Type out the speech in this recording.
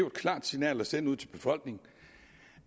et klart signal at sende ud til befolkningen